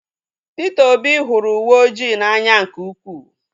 Peter Obi hụrụ uwe oji n'anya nke ukwuu